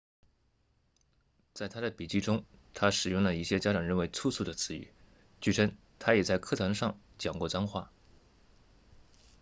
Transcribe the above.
在他的笔记中他使用了一些家长认为粗俗的词语据称他也在课堂上讲过脏话